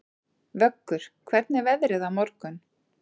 Vöggur, hvernig er veðrið á morgun?